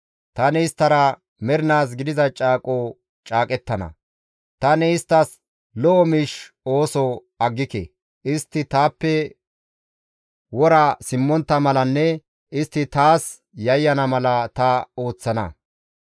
Tani isttara mernaas gidiza caaqo caaqettana; tani isttas lo7o miish ooso aggike; istti taappe wora simmontta malanne istti taas yayyana mala ta ooththana.